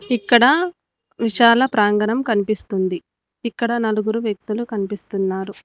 ఇక్కడ విశాల ప్రాంగణం కనిపిస్తుంది ఇక్కడ నలుగురు వ్యక్తులు కనిపిస్తున్నారు.